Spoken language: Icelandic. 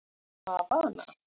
Havana